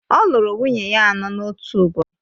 Ọ lụrụ nwunye ya anọ n’otu ụbọchị